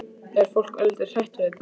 Er fólk örlítið hrætt við þetta?